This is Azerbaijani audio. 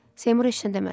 Seymur heç nə demədi.